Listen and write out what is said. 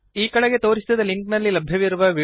ಕೆಳಗೆ ತೋರಿಸಿದ ಲಿಂಕ್ನಲ್ಲಿ ಲಭ್ಯವಿರುವ ವೀಡಿಯೋವನ್ನು ನೋಡಿರಿ